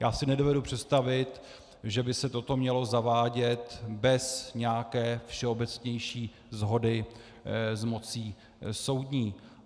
Já si nedovedu představit, že by se toto mělo zavádět bez nějaké všeobecnější shody s mocí soudní.